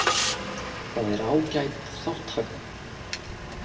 Það er ágæt þátttaka